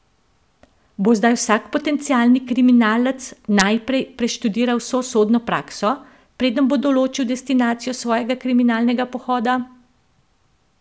Bo zdaj vsak potencialni kriminalec najprej preštudiral vso sodno prakso, preden bo določil destinacijo svojega kriminalnega pohoda?